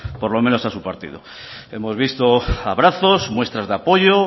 por lo menos a su partido hemos visto abrazos muestras de apoyo